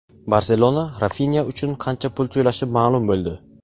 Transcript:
"Barselona" Rafinya uchun qancha pul to‘lashi ma’lum bo‘ldi.